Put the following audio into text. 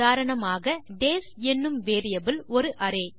உதாரணமாக டேஸ் என்னும் வேரியபிள் ஒரு அரே